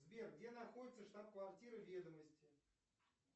сбер где находится штаб квартира ведомости